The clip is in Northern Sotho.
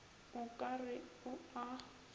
o ka re o a